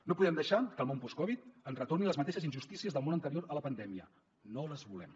no podem deixar que el món postcovid ens retorni a les mateixes injustícies del món anterior a la pandèmia no les volem